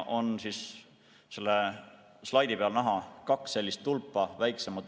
Selle slaidi peal on näha kaks väiksemat tulpa.